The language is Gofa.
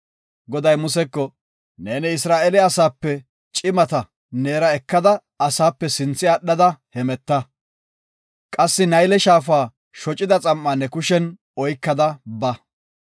Goday Museko, “Neeni Isra7eele asaape cimata neera ekada asaape sinthe aadhada hemeta. Qassi Nayle Shaafa shocida xam7aa ne kushen oykada ba.